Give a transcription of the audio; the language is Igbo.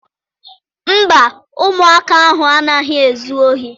Mba, ụmụaka ahụ anaghị ezu ohi.